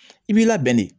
I b'i labɛn de